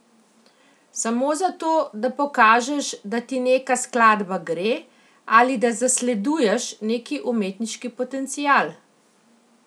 Samo zato, da pokažeš, da ti neka skladba gre, ali da zasleduješ neki umetniški potencial?